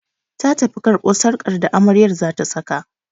Ta tafi karɓo sarƙar da amarya zata saka